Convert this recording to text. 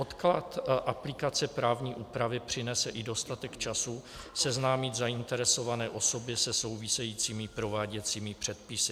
Odklad aplikace právní úpravy přinese i dostatek času seznámit zainteresované osoby se souvisejícími prováděcími předpisy.